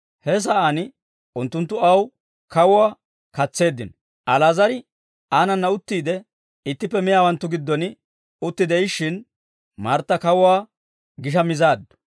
He sa'aan unttunttu aw kawuwaa katseeddino; Ali'aazar aanana uttiide ittippe miyaawanttu giddon utti de'ishshin, Martta kawuwaa gisha mizaaddu.